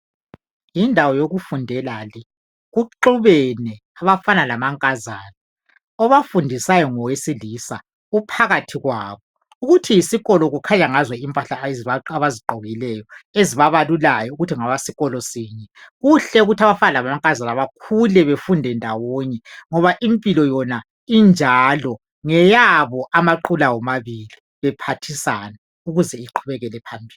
Yindawo yokufundela le kuxubene abafana lamankazana obafundisayo ngowesilisa uphakathi kwabo ukuthi yisikolo kukhanya ngazo impahla abzigqokileyo ezibabalulayo ukuthi ngabesikolo sinye. Kuhle ukuthi abafana lamankazana bakhule bafunde ndawonye ngoba impilo injalo ngeyabo amaqula womabili ukuze bephathiseke besiyaphambili.